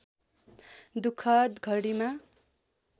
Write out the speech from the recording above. दुःखद घडीमा